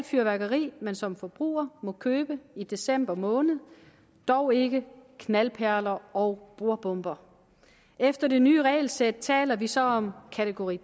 fyrværkeri man som forbruger må købe i december måned dog ikke knaldperler og bordbomber efter det nye regelsæt taler vi så om kategori